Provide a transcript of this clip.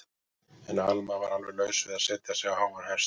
En Alma var alveg laus við að setja sig á háan hest.